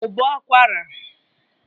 ụbọ akwara